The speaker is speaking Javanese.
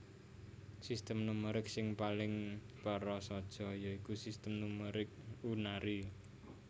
Sistem numerik sing paling prasaja ya iku Sistem numerik unary